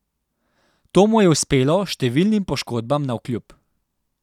To mu je uspelo številnim poškodbam navkljub.